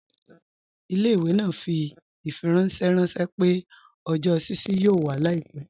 Ilẹ̀-ìwé naa fi ifiranṣẹ ranṣẹ̀ pẹ̀ ọjọ́ ṣíṣí yóò wà làìpẹ.